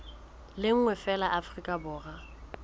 le nngwe feela afrika borwa